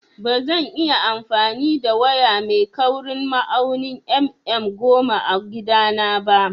Bazan iya amfani da waya mai kaurin ma'aunin mm goma a gida na ba